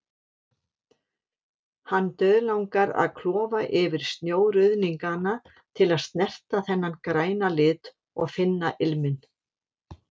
Hann dauðlangar að klofa yfir snjóruðningana til að snerta þennan græna lit, og finna ilminn.